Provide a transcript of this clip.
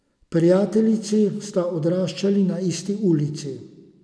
Prijateljici sta odraščali na isti ulici.